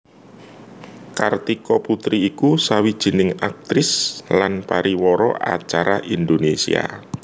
Kartika Putri iku sawijining aktris lan pariwara acara Indonésia